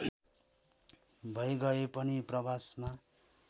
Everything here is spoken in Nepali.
भैगए पनि प्रवासमा